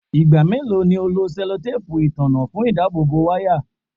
Igba melo ni o lo sellotape itanna fun idabobo waya?